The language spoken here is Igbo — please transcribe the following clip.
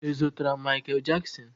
Ị zutere Mikel Jaksin?